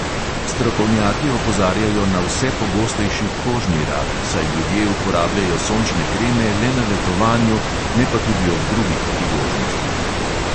Strokovnjaki opozarjajo na vse pogostejši kožni rak, saj ljudje uporabljajo sončne kreme le na letovanju, ne pa tudi ob drugih priložnostih.